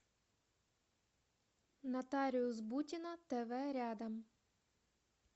нотариус бутина тв рядом